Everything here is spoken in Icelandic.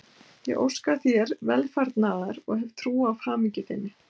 Ég óska þér velfarnaðar og ég hef trú á hamingju þinni.